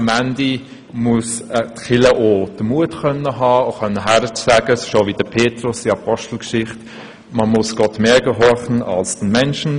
Letzten Endes muss die Kirche auch den Mut haben, wie der Jünger Petrus hinzustehen und zu sagen: «Man muss Gott mehr gehorchen als den Menschen.